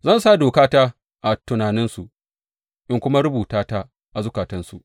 Zan sa dokata a tunaninsu in kuma rubuta ta a zukatansu.